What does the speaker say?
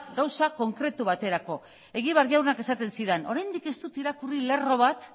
gauza konkretu baterakoa egibar jaunak esaten zidan oraindik ez dut irakurri lerro bat